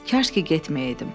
Kaş ki getməyəydim.